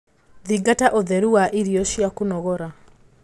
Thingata ũtheru wa irio cia kũnogora